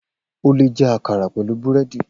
O leè jẹ àkàrà pẹ̀lú búrẹ́dì